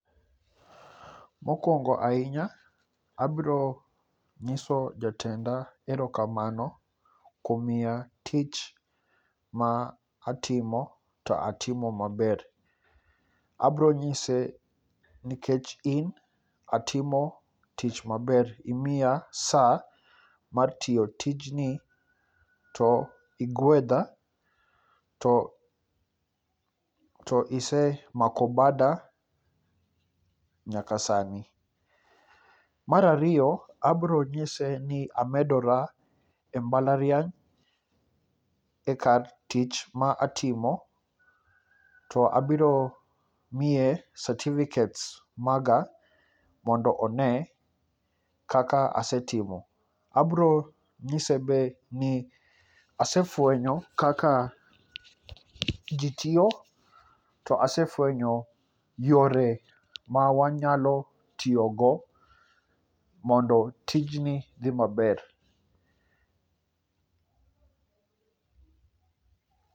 Mokwongo ahinya, abiro nyiso jatenda erokamano, kuom miya tich ma atimo to atimo maber. Abro nyise nikech in, atimo tich maber. Imiya sa mar tiyo tijni, to igwedha ,to isemako bada nyaka sani. Mar ariyo, abro nyise ni amedora e mbalariany e kar tich ma atimo, to abiro miye satifiket maga mondo one kaka asetimo. Abro nyise be.ni asefwenyo kaka ji tiyo, to asefwenyo yore ma wanyalo tiyogo, mondo tijni odhi maber.